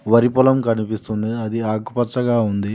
వరి పొలం కనిపిస్తుంది అది ఆకుపచ్చగా ఉంది.